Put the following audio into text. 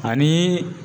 Ani